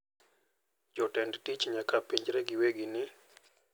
Jotend tich nyaka penjre giwegi ni,